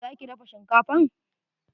Za ki dafa shinkafan?